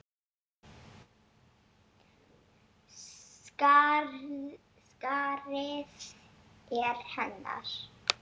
Skarðið er hennar.